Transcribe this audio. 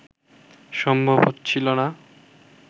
সম্ভব হচ্ছিল না